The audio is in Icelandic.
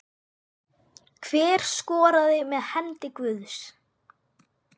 Hver skoraði með hendi guðs?